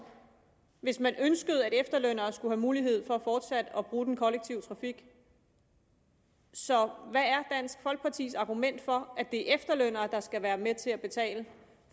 hvis man ønskede at efterlønnere skulle have mulighed for fortsat at bruge den kollektive trafik så hvad er dansk folkepartis argument for at det er efterlønnere der skal være med til at betale